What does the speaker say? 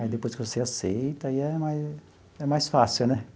Aí depois que você aceita, aí é mais é mais fácil, né?